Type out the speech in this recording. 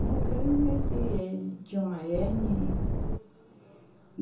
Morreu de, de uma hérnia e.